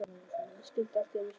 Ég skildi allt í einu svo margt.